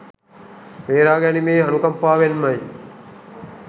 බේරා ගැනීමේ අනුකම්පාවෙන්මයි.